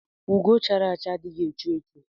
Ugo chara acha adighi echu echu.